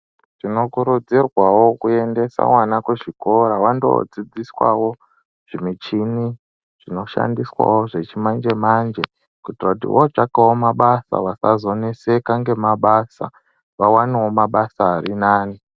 Tinokurudzirwawo kuendesa vana kuchikora vandodzidziswawo zvimichini zvinoshandiswawo zvechimanjemanje. Kuitira kuti votsvakawo mabasa vasazonetseka ngemabasa vawanewo mabasa vawanewo mabasa ari nani.